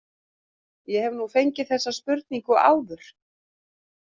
Ég hef nú fengið þessa spurningu áður.